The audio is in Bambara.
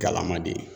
Galama de ye